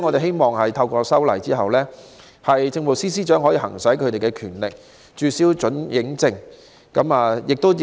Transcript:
希望透過今次的修例工作，政務司司長可行使權力，註銷這些電影的准映證。